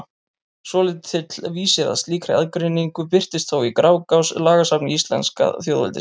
Svolítill vísir að slíkri aðgreiningu birtist þó í Grágás, lagasafni íslenska þjóðveldisins.